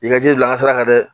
I ka ji bila an ka sira kan dɛ